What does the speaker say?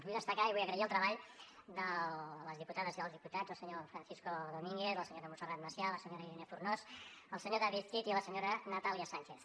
vull destacar i vull agrair el treball de les diputades i dels diputats el senyor francisco domínguez la senyora montserrat macià la senyora irene fornós el senyor david cid i la senyora natàlia sànchez